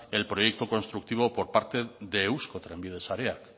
el proyecto constructivo por parte de eusko trenbide sareak